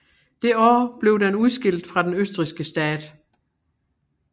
Det år blev den udskilt fra den østrigske stat